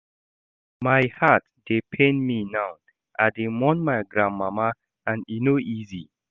My heart dey pain me now, I dey mourn my grandmama and e no easy.